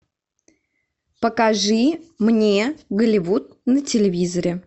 покажи мне голливуд на телевизоре